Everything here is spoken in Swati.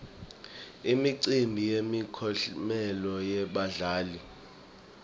imicimbi yemiklomelo yebadlali